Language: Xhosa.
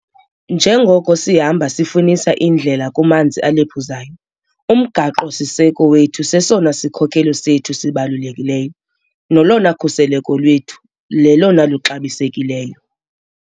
Njengoko sihamba sifunisa indlela kumanzi alephuzayo, uMgaqo-siseko wethu sesona sikhokelo sethu sibalulekileyo nolona khuseleko lwethu lulolona luxabisekileyo.